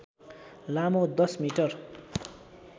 लामो १० मिटर